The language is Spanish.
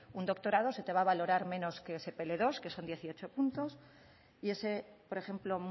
un doctorado se te va a valorar menos que ese pe ele dos que son dieciocho puntos y ese por ejemplo